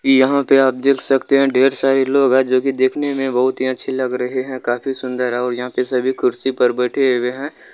यहाँ पे आप देख सकते है ढेर सारे लोग हैं जो की देखने में बहुत ही अच्छे लग रहे हैं काफी सुंदर और यहाँ पे सभी कुर्सी पर बैठे हुए है।